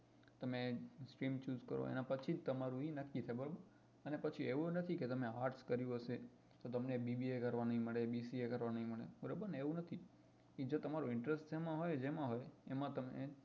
તમે stream choose કરો એના પછી જ તમારું એ નક્કી છે બરાબર અને પછી એવું નથી કે તમે arts કર્યું હશે તો તમને bba કરવા ની મળે bca કરવા ની મળે બરોબર ને એવું નથી કે જો તમારો interest સેમા હોય જેમાં હોય એમાં તમને